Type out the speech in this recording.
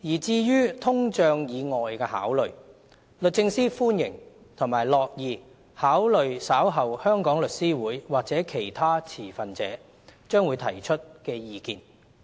至於通脹以外的考慮，律政司歡迎及樂意考慮稍後香港律師會或其他持份者將會提出的意見。